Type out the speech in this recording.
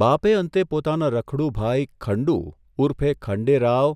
બાપે અંતે પોતાના રખડુ ભાઇ ખંડુ ઊર્ફે ખંડેરાવ